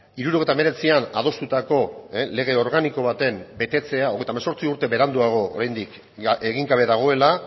hirurogeita hemeretzian adostutako lege organiko baten betetzea hogeita hemezortzi urte beranduago oraindik egin gabe dagoela